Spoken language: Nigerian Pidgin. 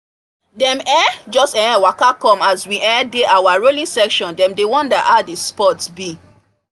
dem um just um waka come as we um dey our rowing session dem dey wonder how the sport be